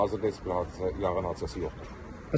Hazırda heç bir hadisə yanğın hadisəsi yoxdur.